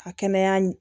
Ka kɛnɛya ɲi